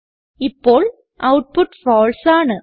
ഇപ്പോൾ output false ആണ്